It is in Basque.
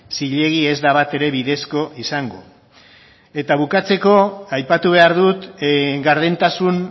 zilegi ez da batere bidezko izango eta bukatzeko aipatu behar dut gardentasun